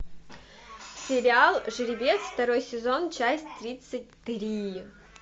сериал жеребец второй сезон часть тридцать три